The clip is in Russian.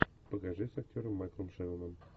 покажи с актером майклом шенноном